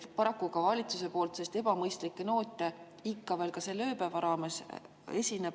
Paraku kõlas ka valitsuse poolt ebamõistlikke noote selle ööpäeva jooksul ikka veel.